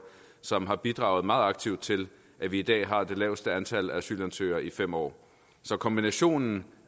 som har bidraget meget aktivt til at vi i dag har det laveste antal asylansøgere i fem år så kombinationen